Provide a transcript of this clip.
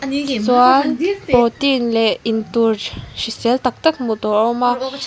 chuan protein leh intur hrisel tak tak hmuh tur a awm a.